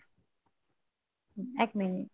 এক মিনিট